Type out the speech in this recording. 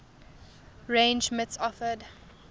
range mits offered